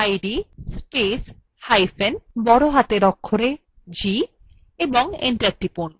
id spacehyphen capital g এবং enter টিপুন